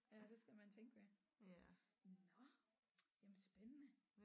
Ja det skal man tænke ved nåh jamen spændende